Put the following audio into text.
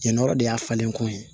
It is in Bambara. Jɛn nɔɔrɔ de y'a falen ko ye